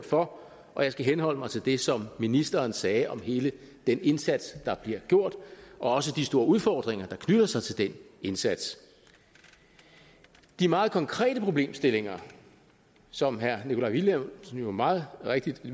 for og jeg skal henholde mig til det som ministeren sagde om hele den indsats der bliver gjort og også de store udfordringer der knytter sig til den indsats de meget konkrete problemstillinger som herre nikolaj villumsen jo meget rigtigt